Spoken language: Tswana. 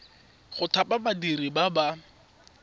go thapa badiri ba ba